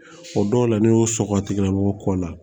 O dɔw la ni y'o sɔkɔ tigɛ bɔ la